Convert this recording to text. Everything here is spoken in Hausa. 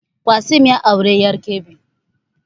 Qassim ya auri ƴar Kebbi